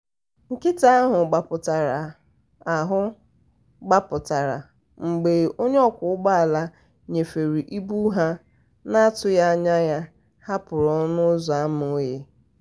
nkịta ahụ gbapụtara ahụ gbapụtara mgbe onye ọkwọ ụgbọala nnyefe ịbụ ha n'atụghị anya ya hapụrụ ọnụ ụzọ ámá oghe.